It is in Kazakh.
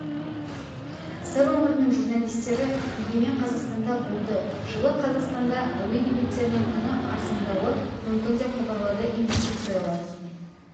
сыр өңірінің журналистері егемен қазақстанда болды жылы қазақстанда әуе билеттерінің құны арзандауы мүмкін деп хабарлады инвестициялар